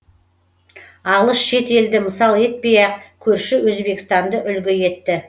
алыс шет елді мысал етпей ақ көрші өзбекстанды үлгі етті